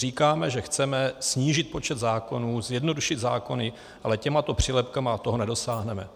Říkáme, že chceme snížit počet zákonů, zjednodušit zákony, ale těmito přílepky toho nedosáhneme.